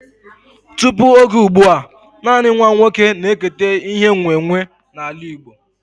Tụpụ oge ụgbụa, nanị nwa oké na eketa ihe e nwe nwe n'ala Igbo